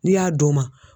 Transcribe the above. N'i y'a d'o ma